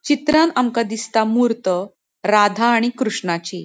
चित्रांन आमका दिसता मूर्त राधा आणि कृष्णाची.